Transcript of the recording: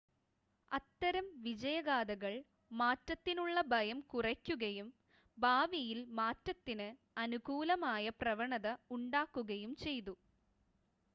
അത്തരം വിജയഗാഥകൾ മാറ്റത്തിനുള്ള ഭയം കുറയ്ക്കുകയും ഭാവിയിൽ മാറ്റത്തിന് അനുകൂലമായ പ്രവണത ഉണ്ടാക്കുകയും ചെയ്തു